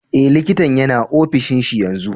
Eh, likitan yana ofishin shi yanzu.